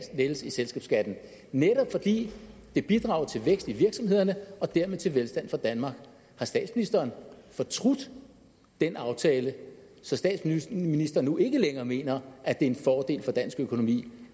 lettelse af selskabsskatten netop fordi det bidrager til vækst i virksomhederne og dermed til velstand for danmark har statsministeren fortrudt den aftale så statsministeren nu ikke længere mener at det er en fordel for dansk økonomi